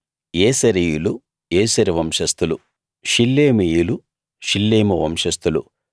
యేసెరీయులు యేసెరు వంశస్థులు షిల్లేమీయులు షిల్లేము వంశస్థులు